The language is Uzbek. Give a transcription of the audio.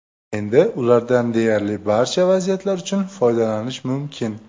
Endi ulardan deyarli barcha vaziyatlar uchun foydalanish mumkin.